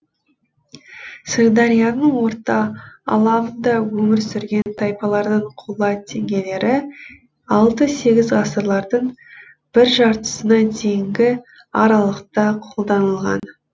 сырдарияның орта алабында өмір сүрген тайпалардың қола теңгелері алты сегіз ғасырлардың бір жартысына дейінгі аралықта қолданылған